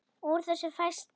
Úr þessu fæst